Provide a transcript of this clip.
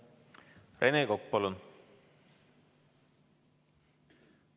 Rene Kokk, palun!